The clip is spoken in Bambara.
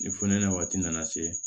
Ni funɛnɛ waati nana se